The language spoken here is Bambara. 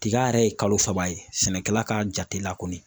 Tiga yɛrɛ ye kalo saba ye sɛnɛkɛla ka jate la kɔni